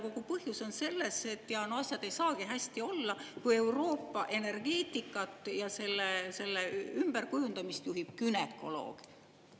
Kogu põhjus on selles, et asjad ei saagi hästi olla, kui Euroopa energeetikat ja selle ümberkujundamist juhib günekoloog.